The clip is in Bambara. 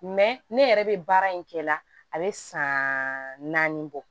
ne yɛrɛ bɛ baara in kɛ la a bɛ san naani bɔ